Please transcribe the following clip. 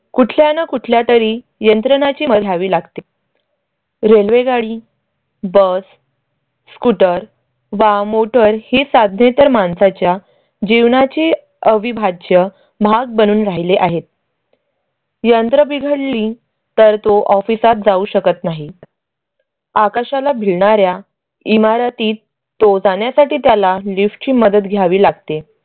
भाग बनून राहिले आहेत. यंत्र बिघडली तर तो ऑफिसात office जाऊ शकत नाहीत. आकाशाला भिडणाऱ्या इमारतीत तो जाण्यासाठी त्याला lift ची मदत घ्यावी लागते.